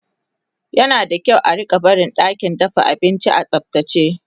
yana da kyau a rinka barin ɗakin dafa abinci a tsaftace